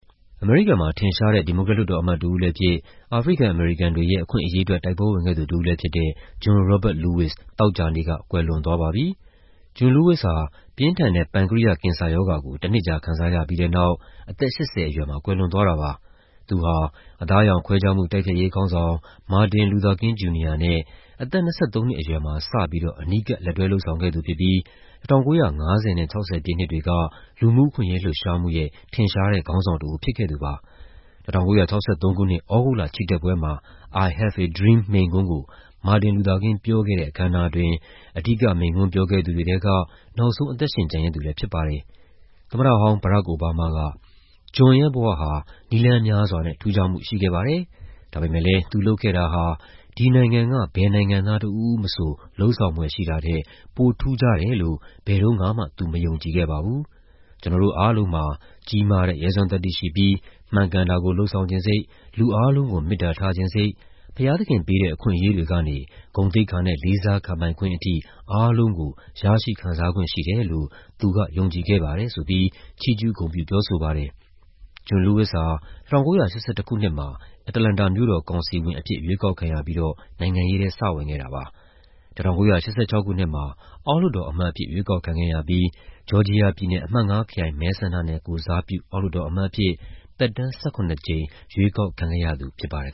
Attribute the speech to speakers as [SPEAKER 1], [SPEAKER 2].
[SPEAKER 1] အမေရိကန်မှာ ထင်ရှားတဲ့ ဒီမိုကရက် လွှတ်တော်အမတ်တဦးလည်းဖြစ်၊ အာဖရိကန်-အမေရိကန်တွေရဲ့ အခွင့်အရေးအတွက် တိုက်ပွဲဝင်ခဲ့သူ တဦးလည်းဖြစ်တဲ့ John Robert Lewis သောကြာနေ့က ကွယ်လွန်သွားပါပြီ။ John Lewis ဟာ ပြင်းထန်တဲ့ ပန်ကရိယကင်ဆာရောဂါကို တနှစ်ကြာ ခံစားရပြီးတဲ့နောက် အသက် ၈၀ အရွယ်မှာ ကွယ်လွန်သွားတာပါ။ သူဟာ အသားအရောင်ခွဲခြားမှု တိုက်ဖျက်ရေးခေါင်းဆောင် မာတင် လူသာကင်း ဂျူနီယာနဲ့ အသက် ၂၃ နှစ်အရွယ်မှာ စပြီးတော့ အနီးကပ် လက်တွဲလုပ်ဆောင်ခဲ့သူဖြစ်ပြီး ၁၉၅၀ နဲ့ ၆၀ ပြည့်နှစ်တွေက လူမှုအခွင့်အရေး လှုပ်ရှားမှုရဲ့ ထင်ရှားတဲ့ ခေါင်းဆောင်တဦး ဖြစ်ခဲ့သူပါ။ ၁၉၆၃ ခုနှစ်၊ သြဂုတ်လ ချီတက်ပွဲမှာ "I Have a Dream" မိန့်ခွန်းကို မာတင်လူသာကင်း ပြောခဲ့တဲ့ အခမ်းအနားအတွင်း အဓိက မိန့်ခွန်းပြောခဲ့သူတွေထဲက နောက်ဆုံး အသက်ရှင်ကျန်ရစ်သူလည်း ဖြစ်ပါတယ်။ သမ္မတဟောင်း Barack Obama က "John ရဲ့ဘဝဟာ နည်းလမ်းများစွာနဲ့ ထူးခြားမှုရှိခဲ့ပါတယ်။ ဒါပေမယ့်လည်း သူလုပ်ခဲ့တာဟာ ဒီနိုင်ငံက ဘယ်နိုင်ငံသား တဦးဦးမဆို လုပ်ဆောင်ဖွယ်ရှိတာထက် ပိုထူးခြားတယ်လို့ ဘယ်တုန်းကမှ သူ မယုံကြည်ခဲ့ပါဘူး။ ကျနော်တို့အားလုံးမှာ ကြီးမားတဲ့ ရဲစွမ်းသတ္တိရှိပြီး မှန်ကန်တာကို လုပ်ဆောင်ချင်စိတ်၊ လူအားလုံးကို မေတ္တာထားချင်စိတ်၊ ဘုရားသခင်ပေးတဲ့ အခွင့်အရေးတွေကနေ ဂုဏ်သိက္ခာနဲ့ လေးစားခံပိုင်ခွင့်အထိ အားလုံးကို ရရှိခံစားခွင့်ရှိတယ်လို့ သူက ယုံကြည်ခဲ့ပါတယ်" လို့ ချီးကျူးဂုဏ်ပြု ပြောဆိုပါတယ်။ John Lewis ဟာ ၁၉၈၁ ခုနှစ်မှာ အတ္တလန္တာမြို့တော် ကောင်စီဝင်အဖြစ် ရွေးကောက်ခံရပြီးတော့ နိုင်ငံရေးထဲ စဝင်ခဲ့တာပါ။ ၁၉၈၆ ခုနှစ်မှာ အောက်လွှတ်တော်အမတ်အဖြစ် ရွေးကောက်ခံခဲ့ရပြီး ဂျော်ဂျီယာပြည်နယ် အမှတ် ၅ ခရိုင် မဲဆန္ဒနယ်ကိုယ်စားပြု အောက်လွှတ်တော်အမတ်အဖြစ် သက်တမ်း ၁၇ ကြိမ် ရွေးကောက်ခံခဲ့ရသူ ဖြစ်ပါတယ်